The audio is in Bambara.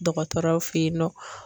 Dɔgɔtɔrɔw feyen nɔ.